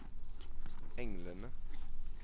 englene